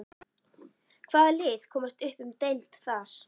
Hvaða lið komast upp um deild þar?